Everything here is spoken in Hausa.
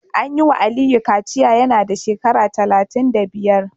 An yi wa Aliyu kaciya yana da shekara talatin da biyar